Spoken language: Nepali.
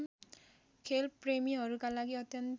खेलप्रेमीहरूका लागि अत्यन्तै